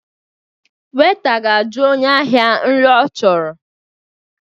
Weita ga-aju onye ahịa nri ọ chọrọ